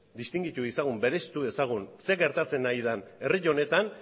distingitu dezagun bereiztu dezagun zer gertatzen ari den herri honetan